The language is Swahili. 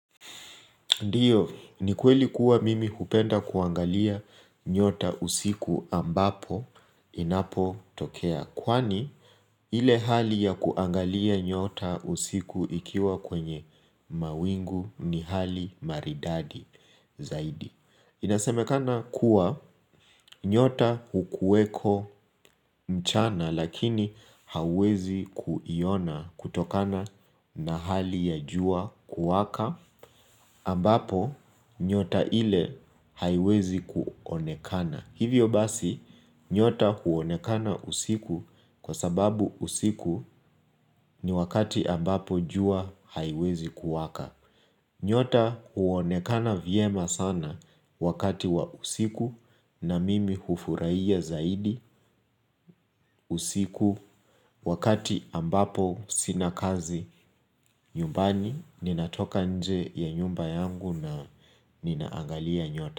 Ndiyo, ni kweli kuwa mimi hupenda kuangalia nyota usiku ambapo inapotokea kwani ile hali ya kuangalia nyota usiku ikiwa kwenye mawingu ni hali maridadi zaidi Inasemekana kuwa nyota hukuweko mchana lakini hawezi kuiona kutokana na hali ya jua kuwaka ambapo nyota ile haiwezi kuonekana. Hivyo basi, nyota huonekana usiku kwa sababu usiku ni wakati ambapo jua haiwezi kuwaka. Nyota huonekana vyema sana wakati wa usiku na mimi hufurahiya zaidi usiku wakati ambapo sina kazi nyumbani ninatoka nje ya nyumba yangu na ninaangalia nyota.